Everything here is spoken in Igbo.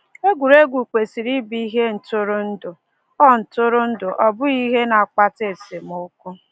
Egwuregwu kwesịrị ịbụ ihe ntụrụndụ, ọ ntụrụndụ, ọ bụghị ihe na-akpata esemokwu.